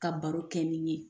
Ka baro kɛ nin ye